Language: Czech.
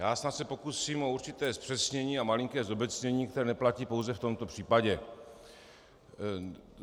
Já snad se pokusím o určité zpřesnění a malinké zobecnění, které neplatí pouze v tomto případě.